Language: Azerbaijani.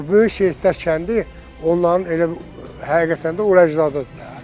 Böyük Seyidlər kəndi onların elə həqiqətən də ur əcdadıdır da.